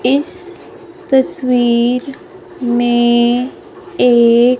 इस तस्वीर में एक--